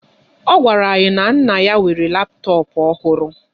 Ọ gwara anyị na nna ya nwere laptọọpụ ọhụrụ.